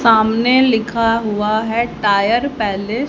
सामने लिखा हुआ है टायर पैले--